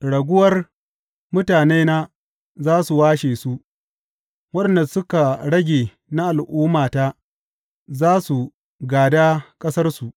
Raguwar mutanena za su washe su; waɗanda suka rage na al’ummata za su gāda ƙasarsu.